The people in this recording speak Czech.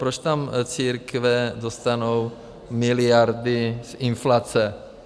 Proč tam církve dostanou miliardy z inflace?